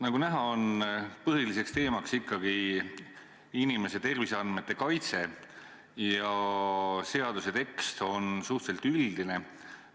Nagu näha, põhiline teema on ikkagi inimese terviseandmete kaitse ja seaduse tekst on suhteliselt üldine.